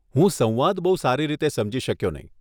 હું સંવાદ બહુ સારી રીતે સમજી શક્યો નહીં